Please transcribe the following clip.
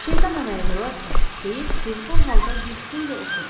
Şeytan əməlidir Votson, deyib dilxor halda bir xeyli oturdu.